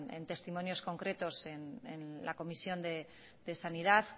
en testimonios concretos en la comisión de sanidad